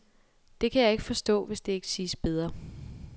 Det kan jeg ikke forstå, hvis det ikke siges bedre.